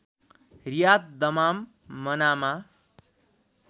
Riyadh Dammam Manama